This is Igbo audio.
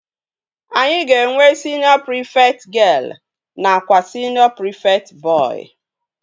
Anyị ga-enwe siniọ prịfekt gịel nakwa siniọ prịfekt bọị